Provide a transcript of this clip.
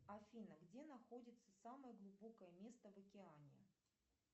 афина где находится самое глубокое место в океане